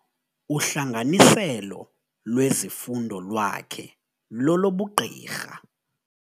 Uhlanganiselo lwezifundo lwakhe lolobugqirha.